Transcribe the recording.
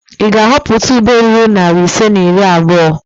Ị ga-ahọpụta ube ruru narị ise na iri abụo?